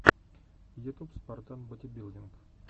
ютюб спартан бодибилдинг